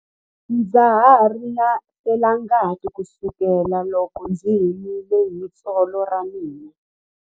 Ndza ha ri na felangati kusukela loko ndzi himile hi tsolo ra mina.